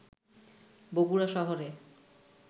বগুড়া শহরে